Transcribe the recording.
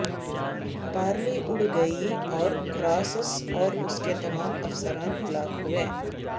پارلی اڑ گئی اور کراسس اور اس کے تمام افسران ہلاک ہوئے